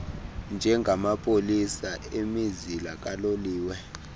njengamapolisa emizila kaloliwe